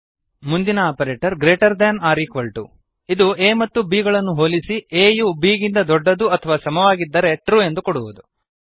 ಮುಂದಿನ operator greater than or equal to ಇದು a ಮತ್ತು b ಗಳನ್ನು ಹೋಲಿಸಿ a ಯು b ಗಿಂತ ದೊಡ್ಡದು ಅಥವಾ ಸಮವಾಗಿದ್ದರೆ ಟ್ರು ಎಂದು ಕೊಡುವುದು